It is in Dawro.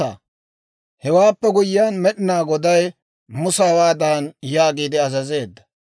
Hewaappe guyyiyaan Med'inaa Goday Musa hawaadan yaagiide azazeedda;